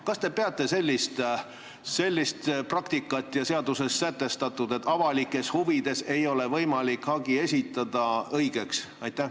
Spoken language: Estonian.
Kas te peate õigeks sellist praktikat ja seaduses sätestatut, et avalikes huvides ei ole võimalik hagi esitada?